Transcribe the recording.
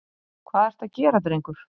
Hvað ertu að gera drengur?